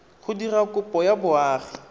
go dira kopo ya boagi